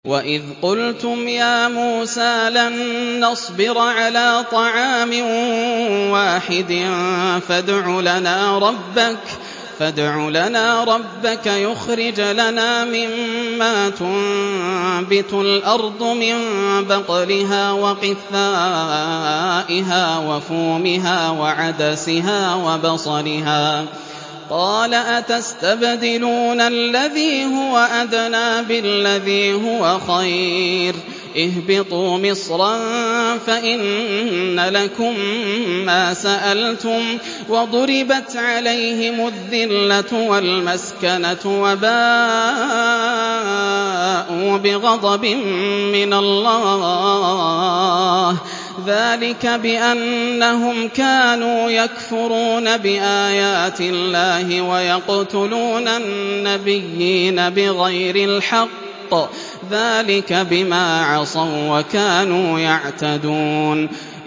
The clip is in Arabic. وَإِذْ قُلْتُمْ يَا مُوسَىٰ لَن نَّصْبِرَ عَلَىٰ طَعَامٍ وَاحِدٍ فَادْعُ لَنَا رَبَّكَ يُخْرِجْ لَنَا مِمَّا تُنبِتُ الْأَرْضُ مِن بَقْلِهَا وَقِثَّائِهَا وَفُومِهَا وَعَدَسِهَا وَبَصَلِهَا ۖ قَالَ أَتَسْتَبْدِلُونَ الَّذِي هُوَ أَدْنَىٰ بِالَّذِي هُوَ خَيْرٌ ۚ اهْبِطُوا مِصْرًا فَإِنَّ لَكُم مَّا سَأَلْتُمْ ۗ وَضُرِبَتْ عَلَيْهِمُ الذِّلَّةُ وَالْمَسْكَنَةُ وَبَاءُوا بِغَضَبٍ مِّنَ اللَّهِ ۗ ذَٰلِكَ بِأَنَّهُمْ كَانُوا يَكْفُرُونَ بِآيَاتِ اللَّهِ وَيَقْتُلُونَ النَّبِيِّينَ بِغَيْرِ الْحَقِّ ۗ ذَٰلِكَ بِمَا عَصَوا وَّكَانُوا يَعْتَدُونَ